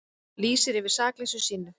Lýsir yfir sakleysi sínu